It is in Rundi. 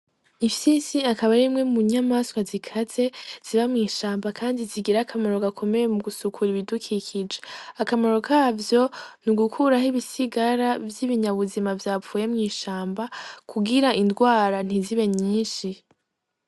Imfyisi akaba arimwe mu nyamaswa zikaze ziba mwishamaba kandi zigira akamaro gakomeye mugusukura ibidukikije, akamaro kavyo N’ugukuraho ibisigara vyibinyabuzima vyapfuye mwishamba kugira ingwara ntizibe nyinshi.